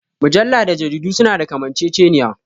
Mujalla da jarida su na da kamanceceniya